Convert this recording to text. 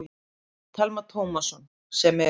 Telma Tómasson: Sem eru?